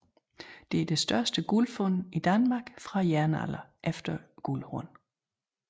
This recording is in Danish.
Det er det største guldfund fra Danmark fra jernalderen efter guldhornene